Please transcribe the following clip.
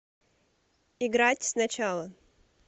играть сначала